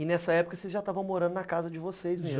E nessa época vocês já estavam morando na casa de vocês mesmo, né?